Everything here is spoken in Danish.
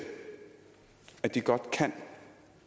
at de godt kan